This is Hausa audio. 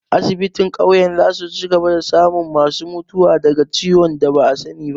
Asibitin ƙauyen za su cigaba da samun ma su mutuwa daga ciwon da ba'a sani ba